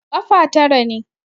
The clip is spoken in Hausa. Ƙafa tara ne.